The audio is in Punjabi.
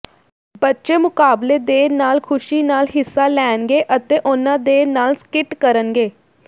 ਬੱਚੇ ਮੁਕਾਬਲੇ ਦੇ ਨਾਲ ਖੁਸ਼ੀ ਨਾਲ ਹਿੱਸਾ ਲੈਣਗੇ ਅਤੇ ਉਹਨਾਂ ਦੇ ਨਾਲ ਸਕਿੱਟ ਕਰਨਗੇ